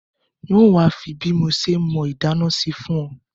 N o wa fi bí mo se mọ́ inádá sí fùn o